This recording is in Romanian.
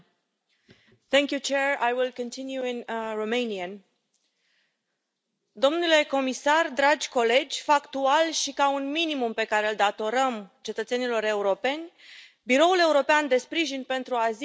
Domnule comisar, dragi colegi, factual și ca un minimum pe care îl datorăm cetățenilor europeni, Biroul European de Sprijin pentru Azil nu poate primi descărcarea de gestiune din partea Parlamentului pentru anul financiar